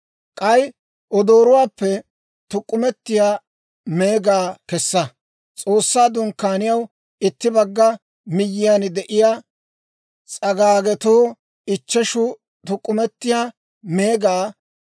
«K'ay odoorotuwaappe tuk'k'umetiyaa meegaa kessa. S'oossaa Dunkkaaniyaw itti bagga miyyiyaan de'iyaa s'agaagetoo ichcheshu tuk'k'umetiyaa meegaa,